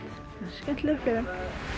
skemmtileg upplifun